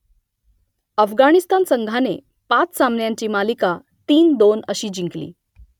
अफगाणिस्तान संघाने पाच सामन्यांची मालिका तीन दोन अशी जिंकली